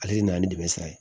Ale de nana ni dɛmɛ sira ye